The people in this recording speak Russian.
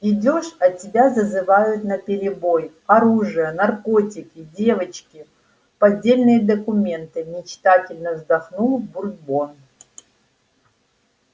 идёшь а тебя зазывают наперебой оружие наркотики девочки поддельные документы мечтательно вздохнул бурбон